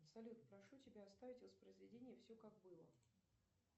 салют прошу тебя оставить воспроизведение все как было